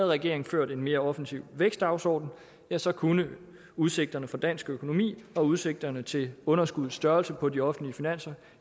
regeringen ført en mere offensiv vækstdagsorden ja så kunne udsigterne for dansk økonomi og udsigterne til underskuddets størrelse på de offentlige finanser